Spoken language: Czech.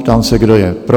Ptám se, kdo je pro?